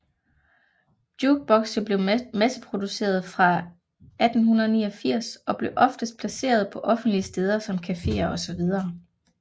Jukebokse blev masseproducerede fra 1889 og blev oftest placeret på offentlige steder som caféer osv